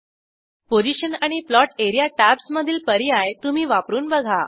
position आणि plot area tabs मधील पर्याय तुम्ही वापरून बघा